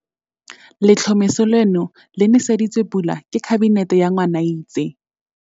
Letlhomeso leno le nese ditswe pula ke Kabinete ka Ngwanaitse.